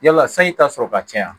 Yala sanji ta sɔrɔ ka caya